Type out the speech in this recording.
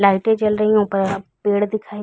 लाइटे जल रही है ऊपर अ पेड़ दिखाई --